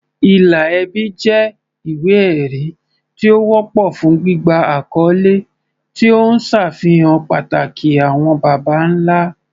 Ìlà ẹbí jẹ́ ìwé-ẹ̀rí tí ó wọ́pọ̀ fún gbígba àkọ́lé, tí ó ń ṣàfihàn pàtàkì àwọn baba ńlá.